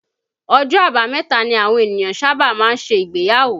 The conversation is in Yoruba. Ọjọ́ àbámẹ̀ta ni àwọn ènìyàn sábà máa ń ṣe ìgbéyàwó